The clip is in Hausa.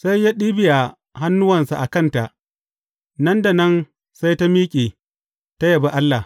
Sai ya ɗibiya hannuwansa a kanta, nan da nan sai ta miƙe, ta yabi Allah.